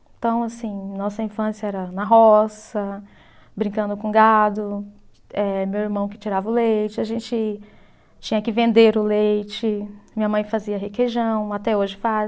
Então, assim, nossa infância era na roça, brincando com gado, eh meu irmão que tirava o leite, a gente tinha que vender o leite, minha mãe fazia requeijão, até hoje faz.